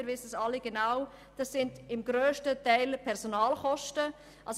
Wir wissen alle genau, dass die Personalkosten der grösste Budgetposten sind.